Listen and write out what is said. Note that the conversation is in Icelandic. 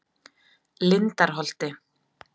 Lindarholti